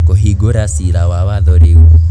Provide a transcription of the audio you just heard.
Kũhingũra cira wa watho riũ